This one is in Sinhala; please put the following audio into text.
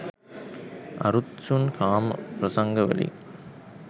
අරුත්සුන් කාම ප්‍රසංගවලින්